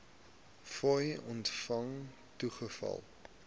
fooie ontvang toegeval